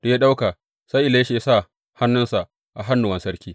Da ya ɗauka, sai Elisha ya sa hannunsa a hannuwan sarki.